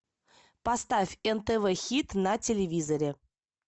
поставь нтв хит на телевизоре